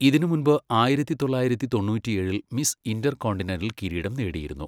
ഇതിനുമുൻപ് ആയിരത്തി തൊള്ളായിരത്തി തൊണ്ണൂറ്റിയേഴിൽ മിസ് ഇന്റർകോണ്ടിനെന്റൽ കിരീടം നേടിയിരുന്നു.